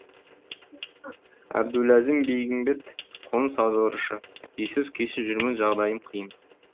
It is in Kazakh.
әбдуләзім бегімбет қоныс аударушы үйсіз күйсіз жүрмін жағдайым қиын